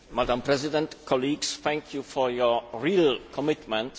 Madam President, colleagues, thank you for your real commitment.